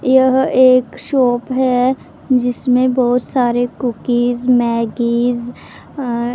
यह एक शॉप है जिसमें बहुत सारे कुकीज मैग्गीज अं--